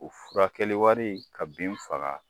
U furakɛli wari ka bin faga